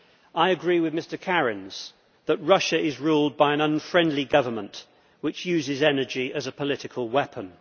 I agree with Mr Kariņš that Russia is ruled by an unfriendly government which uses energy as a political weapon.